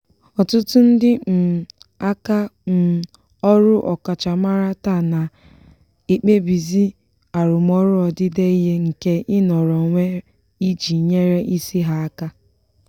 ọtụtụ ndị um aka um ọrụ ọkachamara taa na-ekpebizi arụmọrụ odide ihe nke ịnọrọ onwe iji nyere isi ha aka.